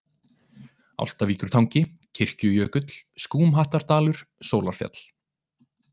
Álftavíkurtangi, Kirkjujökull, Skúmhattardalur, Sólarfjall